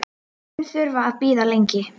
Mun þurfa að bíða lengi.